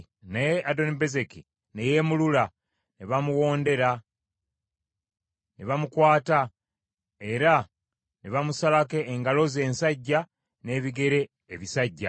Naye Adonibezeki ne yeemulula, ne bamuwondera, ne bamukwata era ne bamusalako engalo ze ensajja n’ebigere ebisajja .